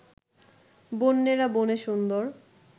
বন্যেরা বনে সুন্দর